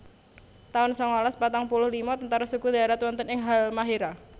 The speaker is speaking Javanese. taun sangalas patang puluh lima Tentara Sekutu ndharat wonten ing Halmahéra